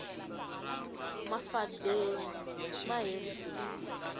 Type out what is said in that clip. mafadeni ma herisiwile